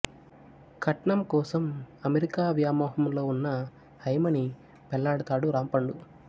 కట్నం కోసం అమెరికా వ్యామోహంలో వున్న హైమని పెళ్ళాడతాడు రాంపండు